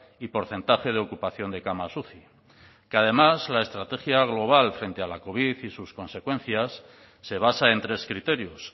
y porcentaje de ocupación de camas uci que además la estrategia global frente a la covid y sus consecuencias se basa en tres criterios